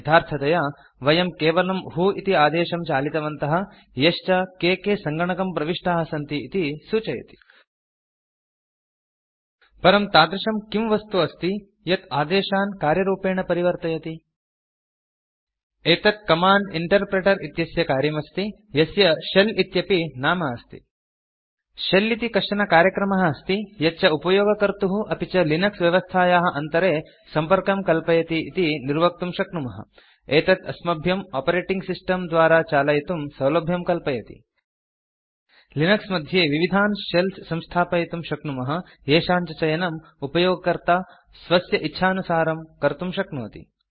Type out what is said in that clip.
यथार्थतया वयं केवलं व्हो इति आदेशं चालितवन्तः यश्च के के सङ्गणकं प्रविष्टाः सन्ति इति सूचयति परं तादृशं किं वस्तु अस्ति यत् आदेशान् कार्यरूपेण परिवर्तयति एतत् कमाण्ड इंटरप्रिटर इत्यस्य कार्यमस्ति यस्य शेल इत्यपि नाम अस्ति शेल इति कश्चन कार्यक्रमः अस्ति यच्च उपयोगकर्तुः अपि च लिनक्स व्यवस्थायाः अन्तरे सम्पर्कं कल्पयति इति निर्वक्तुं शक्नुमः एतत् अस्मभ्यं आपरेटिंग सिस्टम् द्वारा चालयितुं सौलभ्यं कल्पयति लिनक्स मध्ये विविधान् शेल्स् संस्थापयितुं शक्नुमः येषां च चयनम् उपयोगकर्ता स्वस्य इच्छानुसारं कर्तुं शक्नोति